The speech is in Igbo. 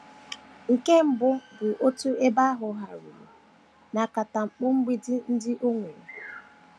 Nke mbụ bụ otú ebe ahụ hàruru na akatamkpo mgbidi ndị o nwere.